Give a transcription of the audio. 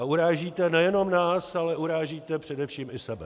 A urážíte nejenom nás, ale urážíte především i sebe.